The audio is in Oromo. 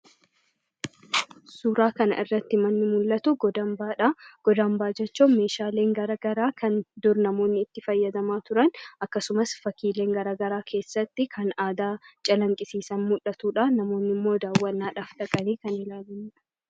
Suuraa kana irratti manni mul'atu god-hambaadha. God-hambaa jechuun meeshaaleen gara garaa kan dur namoonni fayyadamaa turan, akkasumas fakkiileen gara garaa kan aadaa calaqqisiisan keessatti muldhatudha. Namoonnis daawwannaaf dhaqanii ilaalanidha.